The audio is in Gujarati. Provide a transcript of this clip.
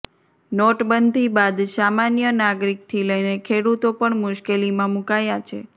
નોટબંધી બાદ સામાન્ય નાગરીકથી લઈને ખેડૂતો પણ મુશ્કેલીમાં મુકાયા છે